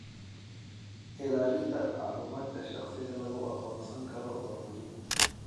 Ilaalinta macluumaadka shaqsiga lagu aqoonsan karo waa muhiim.